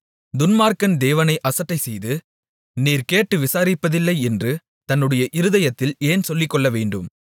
துன்மார்க்கன் தேவனை அசட்டைசெய்து நீர் கேட்டு விசாரிப்பதில்லை என்று தன்னுடைய இருதயத்தில் ஏன் சொல்லிக்கொள்ளவேண்டும்